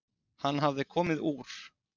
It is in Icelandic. Hann hafði komið úr